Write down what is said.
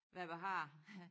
Hvadbehager